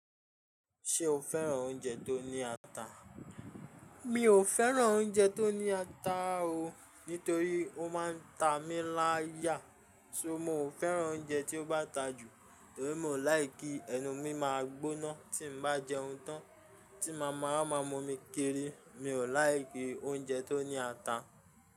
Ṣé o fẹ́ràn oúnjẹ tó ní ata? Mi ò fẹ́ràn oúnjẹ tó ní ata o. Nítorí ó má ń ta mí láyà. So mó ò fẹ́ràn oúnjẹ tí ó bá ta jù, torí mo láì kí ẹnu mi máa gbóná tí n bá jẹun tán, tí màmá máa mú mi kiri. Mi ò láì kí oúnjẹ tó ní ata.